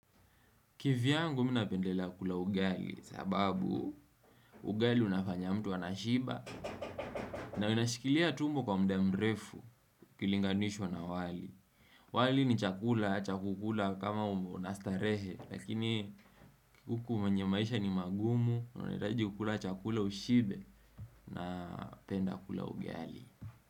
Kivyangu mii napendela kula ugali sababu ugali unafanya mtu anashiba na inashikilia tumbo kwa mda mrefu kilinganishwa na wali wali ni chakula, cha kukula kama unastarehe Lakini huku mwenye maisha ni magumu, unahitaji kukula chakula ushibe na penda kula ugali.